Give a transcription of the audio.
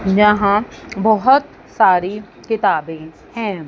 यहां बहोत सारी किताबें हैं।